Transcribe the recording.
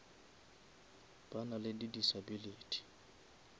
ba na le di disability